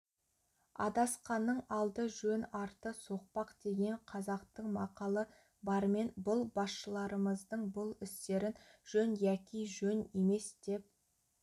адасқанның алды жөн арты соқпақ деген қазақтың мақалы бармен бұл басшыларымыздың бұл істерін жөн яки жөн емес деп